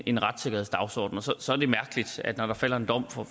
en retssikkerhedsdagsorden og så er det mærkeligt at når der falder en dom fra